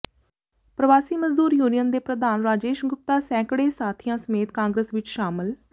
ਪ੍ਰਵਾਸੀ ਮਜ਼ਦੂਰ ਯੂਨੀਅਨ ਦੇ ਪ੍ਰਧਾਨ ਰਾਜੇਸ਼ ਗੁਪਤਾ ਸੈਂਕੜੇ ਸਾਥੀਆਂ ਸਮੇਤ ਕਾਂਗਰਸ ਵਿੱਚ ਸ਼ਾਮਲ